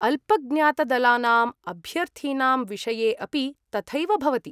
अल्पज्ञातदलानाम् अभ्यर्थीनां विषये अपि तथैव भवति ।